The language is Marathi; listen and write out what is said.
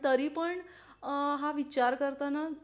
तरी पण अ अ हा विचार करताना